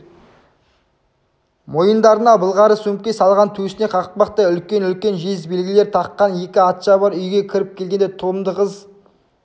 мойындарына былғары сөмке салған төсіне қақпақтай үлкен-үлкен жез белгілер таққан екі атшабар үйге кіріп келгенде тұлымды қыз